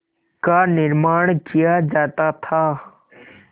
का निर्माण किया जाता था